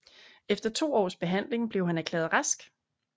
Efter to års behandling blev han erklæret rask